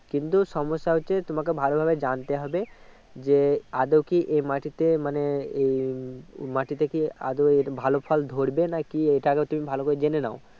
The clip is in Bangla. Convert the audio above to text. কিন্তু সমস্যা হচ্ছে তোমাকে ভালো ভাবে জানতে হবে যে আদও কি এই মাটিতে মানে এই মাটিতে কি আদও ভালো ফল ধরবে না কি এতাকেউ তুমি ভালো করে জেনে নাও